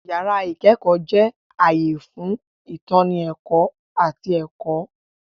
Yàrá ìkẹ́kọ̀ọ́ jẹ́ ààyè fún ìtọ́ni ẹ̀kọ́ àti ẹ̀kọ́.